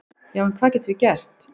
"""Já, en hvað getum við gert?"""